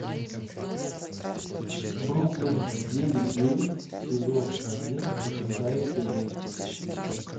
бруклин девять девять сезон один шестая серия